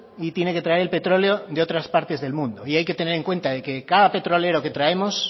y tiene que traer el petróleo de otras parte del mundo y hay que tener en cuenta de que cada petrolero que traemos